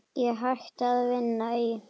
Ég hætti að vinna í